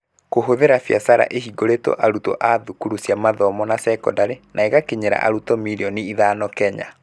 kũhũthĩra biacara ĩhingũrĩtwo arutwo a thukuru cia mathomo na sekondarĩ, na ĩgakinyĩra arutwo mirioni ithano Kenya.